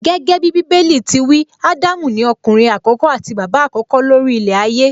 Gẹ́gẹ́bí Bíbélì ti wí, Ádámù ni ọkùnrin àkọ́kọ́ àti bàbá àkọ́kọ́ ló rí ilẹ̀ ayé